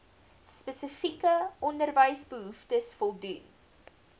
spesifieke onderwysbehoeftes voldoen